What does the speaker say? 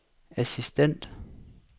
assistent